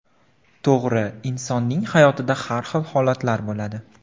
To‘g‘ri, insonning hayotida har xil holatlar bo‘ladi.